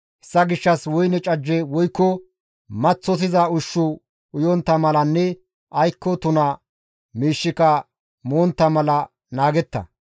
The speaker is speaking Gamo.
Hessa gishshas woyne cajje woykko maththosiza ushshu uyontta malanne aykko tuna miishshika montta mala naagetta.